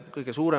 Hea juhataja!